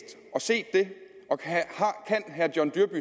og set det og kan herre john dyrby